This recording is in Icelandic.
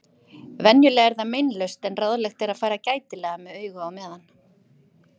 Venjulega er það meinlaust en ráðlegt er að fara gætilega með augu á meðan.